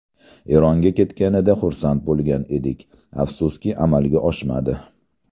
Eronga ketganida xursand bo‘lgan edik, afsuski amalga oshmadi.